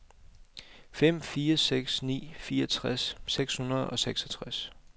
fem fire seks ni fireogtres seks hundrede og seksogtres